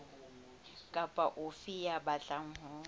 kapa ofe ya batlang ho